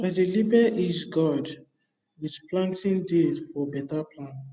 i dey label each gourd with planting date for better plan